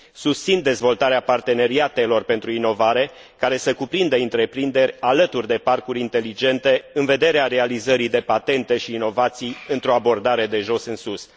Susțin dezvoltarea parteneriatelor pentru inovare, care să cuprindă întreprinderi alături de parcuri inteligente, în vederea realizării de patente și inovații într o abordare de jos în sus.